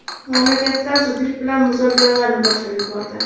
Mamlakatlar zudlik bilan muzokaralarni boshlab yubordi.